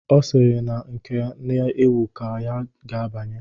Ọ sịrị na nke na-ewu ka ya ga-abanye.